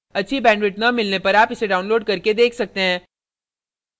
अच्छी bandwidth न मिलने पर आप इसे download करके देख सकते हैं